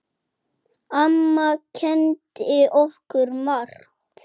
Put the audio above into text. Amma kenndi okkur margt.